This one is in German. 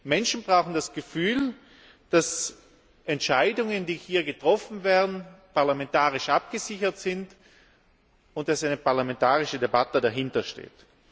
Menschen brauchen das Gefühl, dass Entscheidungen, die hier getroffen werden, parlamentarisch abgesichert sind, und dass eine parlamentarische Debatte dahintersteht.